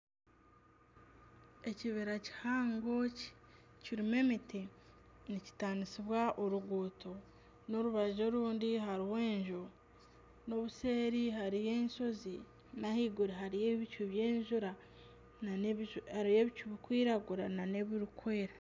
Ekibira kihango kirimu emiti nikitanisibwa oruguuto n'orubaju orundi hariho enju n'obuseeri hariyo enshozi n'ahaiguru hariyo ebicu bikwiragura n'ebikweera.